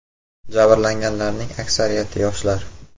Jabrlanganlarning aksariyati yoshlar.